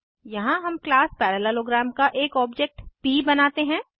यहाँ हम class parallelogram का एक ऑब्जेक्ट प बनाते हैं